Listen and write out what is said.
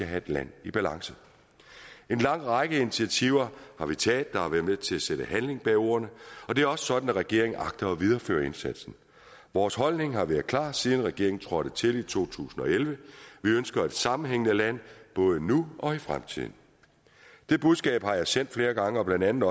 have et land i balance en lang række initiativer har vi taget har været med til at sætte handling bag ordene og det er jo sådan at regeringen agter at videreføre indsatsen vores holdning har været klar siden regeringen trådte til i to tusind og elleve vi ønsker et sammenhængende land både nu og i fremtiden det budskab har jeg sendt flere gange blandt andet